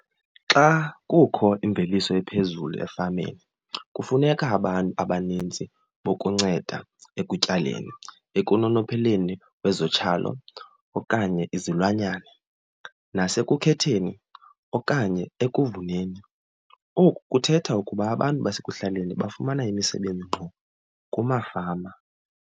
Xa kukho imveliso ephezulu efameni kufuneka abantu abaninzi bokunceda ekutyaleni ekunonopheleni kwezotyalo okanye izilwanyana nasekuthetheni okanye ekuvuneni. Oku kuthetha ukuba abantu basekuhlaleni bafumana imisebenzi ngqo kumafama.